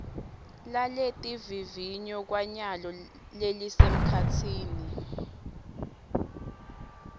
laletivivinyo kwanyalo lelisemkhatsini